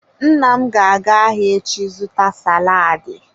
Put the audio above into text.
Nna m ga-aga ahia echi zuta saladi.